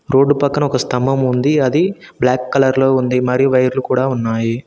Road పక్కన ఒక స్తంభం ఉంది అది బ్లాక్ కలర్ లో ఉంది మరియు వైర్లు కూడా ఉన్నాయి.